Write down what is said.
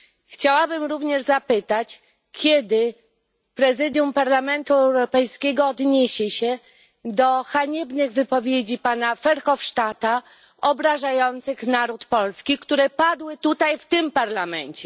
Chciałabym również zapytać, kiedy Prezydium Parlamentu Europejskiego odniesie się do haniebnych wypowiedzi pana Verhofstadta, obrażających naród polski, które padły tutaj w tym parlamencie?